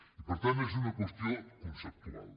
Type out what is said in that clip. i per tant és una qüestió conceptual